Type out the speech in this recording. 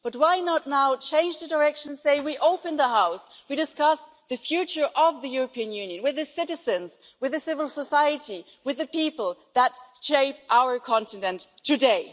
But why not now change the direction and say we'll open the House and discuss the future of the European Union with the citizens, with civil society, with the people that shape our continent today?